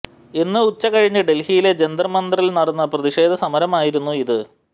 ഇന്ന് ഉച്ച കഴിഞ്ഞ് ഡല്ഹിയിലെ ജന്തര് മന്ദറില് നടന്ന പ്രതിഷേധ സമരരമായിരുന്നു ഇത്